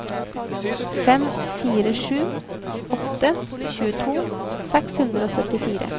fem fire sju åtte tjueto seks hundre og syttifire